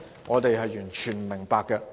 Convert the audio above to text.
我們完全不明白。